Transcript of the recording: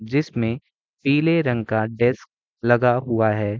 जिसमे पीले रंग का डेस्क लगा हुआ है।